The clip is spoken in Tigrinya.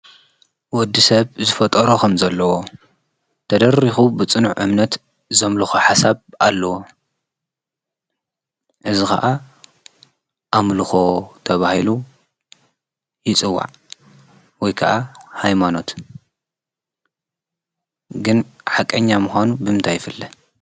ወድሰብ ዝፈጠሮ ከምዘለዎ ተደሪኩ ብፅኑዕ እምነት ዘምልኮ ሓሳብ ኣለዎ:: እዚ ከዓ ኣምልኮ ተባሂሉ ይፅዋዕ ወይ ከዓ ሃይማኖት ግን ሓቀኛ ምኳኑ ብምንታይ ይፍለጥ?